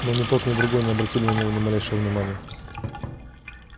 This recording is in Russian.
но ни тот ни другой не обратили на неё ни малейшего внимания